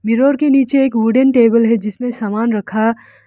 Mirror के नीचे एक वुडन टेबल है जिसमें समान रखा।